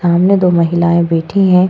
सामने दो महिलाएं बैठी हैं।